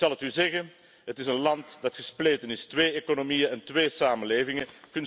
Ik zal het u zeggen het is een land dat gespleten is, twee economieën en twee samenlevingen.